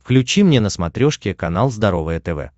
включи мне на смотрешке канал здоровое тв